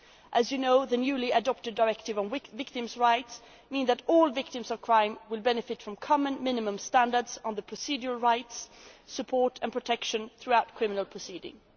As you know, the newly adopted directive on victims' rights means that all victims of crime will benefit from common minimum standards on their procedural rights, support and protection throughout criminal proceedings.